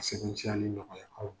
A sɛbntiyali nɔgɔya aw ma.